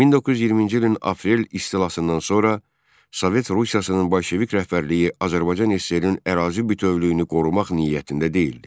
1920-ci ilin aprel istilasından sonra Sovet Rusiyasının bolşevik rəhbərliyi Azərbaycan SSRİ-nin ərazi bütövlüyünü qorumaq niyyətində deyildi.